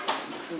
Yox, düzəlmir.